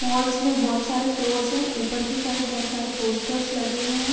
मॉलस में बोहत सारे फ्लोर्स है ऊपर की साइड्स बोहत सारे पोस्टर्स लगे हुए हैं।